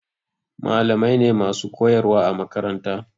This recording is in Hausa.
Malamai ne masu koyarwa a makaranta.